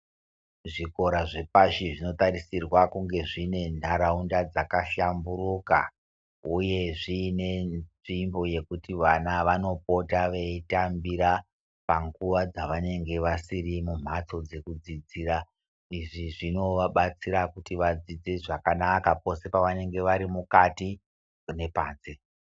Zvikora zvepashi zvinotarisirwa kunge zvine nharaunda dzakashamburuka uye zvine nzvimbo yekuti vana vanopota veitambira panguva dzavanenge vasiri mumhatso dzekudzidzira. Izvi zvinovabatsira kuti vadzidze zvakanaka pose pavanenge vari mukati nepanze.